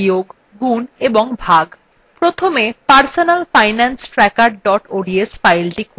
প্রথমে personalfinancetracker ods file খুলুন